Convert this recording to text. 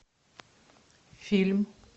фильм